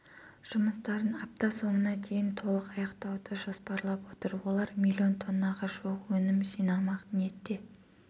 жұмыстарын апта соңына дейін толық аяқтауды жоспарлап отыр олар миллион тоннаға жуық өнім жинамақ ниетте